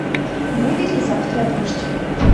будет ли завтра дождь